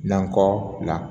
Nakɔ bila